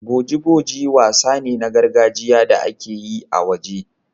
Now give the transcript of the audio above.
Boji-boji wasa ne na gargajiya da ake yi a waje.